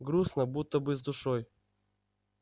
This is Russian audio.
грустно будто бы с душой